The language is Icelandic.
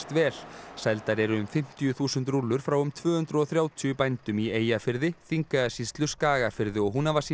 vel seldar eru um fimmtíu þúsund rúllur frá um tvö hundruð og þrjátíu bændum í Eyjafirði Þingeyjarsýslu Skagafirði og